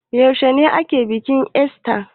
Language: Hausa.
Yaushe ake bikin ista?